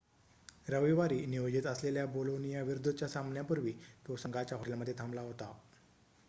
रविवारी नियोजित असलेल्या बोलोनियाविरुद्धच्या सामन्यापूर्वी तो संघाच्या हॉटेलमध्ये थांबला होता